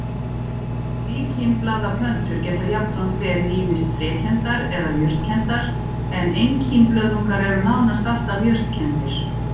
Tvíkímblaða plöntur geta jafnframt verið ýmist trékenndar eða jurtkenndar en einkímblöðungar eru nánast alltaf jurtkenndir.